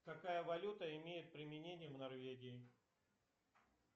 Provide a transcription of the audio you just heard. какая валюта имеет применение в норвегии